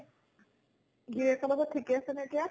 গিৰীয়েকৰ লগত ঠিকে আছে নে এতিয়া?